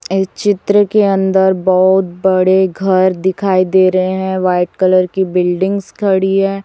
ये चित्र के अंदर बहोत बड़े घर दिखाई दे रहे हैं व्हाइट कलर की बिल्डिंग्स खड़ी है।